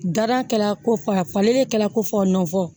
Dara kɛla ko fɔ a falenni kɛla ko fɔ n fɔ